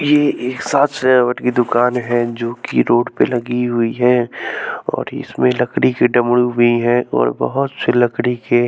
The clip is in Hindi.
ये एक साज सजावट की दुकान है जो कि रोड पे लगी हुई है और इसमें लकड़ी के डमरू भी हैं और बहुत से लकड़ी के--